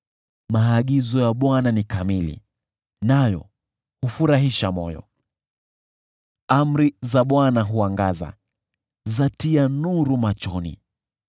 Maagizo ya Bwana ni kamili, nayo hufurahisha moyo. Amri za Bwana huangaza, zatia nuru machoni.